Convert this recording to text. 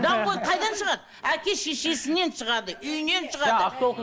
даңғой қайдан шығады әке шешесінен шығады үйінен шығады